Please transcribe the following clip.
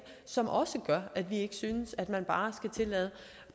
som også gør at vi ikke synes at man bare skal tillade